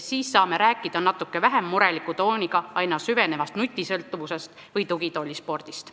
Siis saame natuke vähem mureliku tooniga rääkida aina süvenevast nutisõltuvusest või tugitoolispordist.